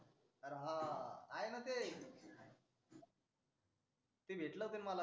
अरे हा आहे णा ते ते भेटले होते ते मला